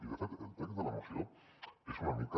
i de fet el text de la moció és una mica